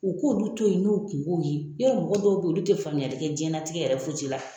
U k'olu to ye n'u kunkow ye yarɔ mɔgɔ dɔw bɛ ye olu tɛ faamuyali kɛ jiyɛnnatigɛ yɛrɛ fosi la.